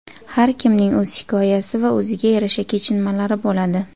Har kimning o‘z hikoyasi va o‘ziga yarasha kechinmalari bo‘ladi.